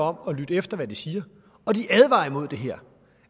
om at lytte efter hvad de siger og de advarer imod det her